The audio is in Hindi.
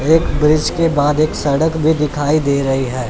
एक ब्रिज के बाद एक सड़क भी दिखाई दे रही है।